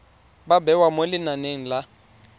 ba bewa mo lenaneng la